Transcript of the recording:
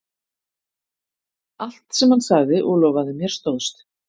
Allt sem hann sagði og lofaði mér stóðst.